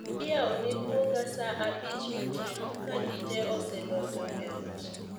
Iyaone guoge saa abich otieno ka ji te osedonjo e ot